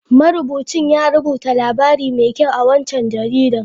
Marubucin ya rubuta labari mai kyau a waccan jaridar.